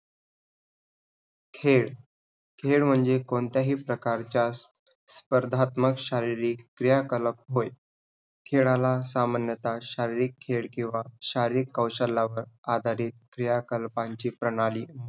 खेळ, खेळ म्हणजे कोणत्याही प्रकारचा स्पर्धात्मक शारीरिक क्रियाकलप होय. खेळाला सामान्यतः शारीरिक खेळ किंवा शारीरिक कौशल्यावर आधारित क्रियाकल्पांची प्रणाली म्हणून